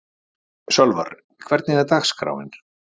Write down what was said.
Sölvar, hvernig er dagskráin?